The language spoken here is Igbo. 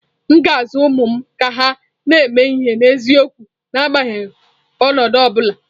M ga-azụ ụmụ m ka ha na-eme ihe n’eziokwu n’agbanyeghị ọnọdụ ọ bụla.